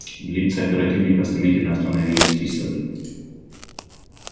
лица оперативников стремительно становились кислыми